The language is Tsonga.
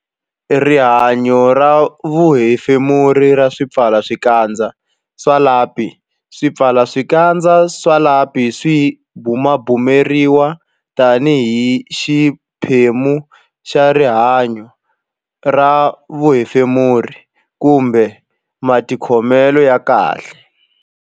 Rihanyo ra vuhefemuri ra swipfalaxikandza swa lapi Swipfalaxikandza swa lapi swi bumabumeriwa tanihi xiphemu xa rihanyo ra vuhefemuri kumbe matikhomelo ya kahle.